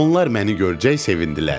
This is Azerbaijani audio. Onlar məni görəcək sevindilər.